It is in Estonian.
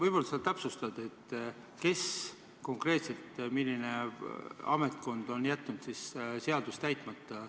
Võib-olla sa täpsustad, kes konkreetselt, milline ametkond on jätnud siis seaduse täitmata.